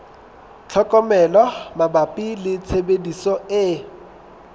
tlhokomelo mabapi le tshebediso e